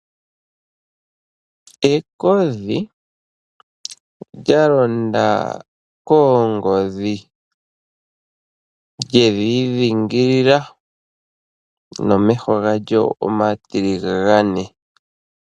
Ekodhi lyalonda koongodhi, lyedhidhingilila momeho galyo omatiligane .